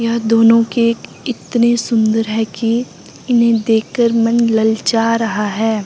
यह दोनों केक इतने सुंदर हैं कि इन्हें देख के मन ललचा रहा है।